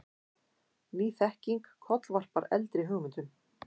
Ný þekking kollvarpar eldri hugmyndum.